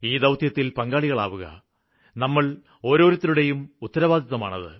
ഈ ദൌത്യത്തില് പങ്കാളിയാവുക നമ്മള് ഓരോരുത്തരുടേയും ഉത്തരവാദിത്തമാണ്